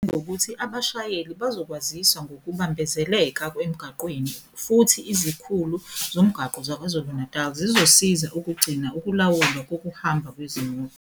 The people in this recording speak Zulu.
Wengeze ngokuthi abashayeli bazokwaziswa ngokubambezeleka emgwaqeni futhi izikhulu zomgwaqo zaKwaZulu-Natali zizosiza ukugcina ukulawulwa kokuhamba kwezimoto.